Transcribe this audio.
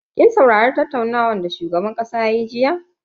Kin saurari tattaunawa da shugaban kasa yayi jiya?